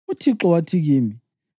uThixo wathi kimi,